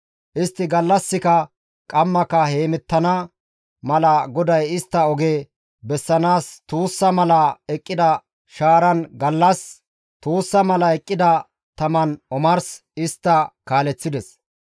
Istti gallassika qammaka hemettana mala GODAY istta oge bessanaas tuussa mala eqqida shaaran gallas, tuussa mala eqqida taman omars istta kaaleththides.